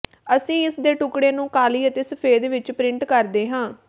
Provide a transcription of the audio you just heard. ਅਸੀਂ ਇਸ ਦੇ ਟੁਕੜੇ ਨੂੰ ਕਾਲੀ ਅਤੇ ਸਫੈਦ ਵਿਚ ਪਰਿੰਟ ਕਰਦੇ ਹਾਂ